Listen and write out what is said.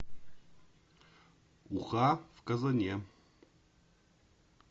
уха в казане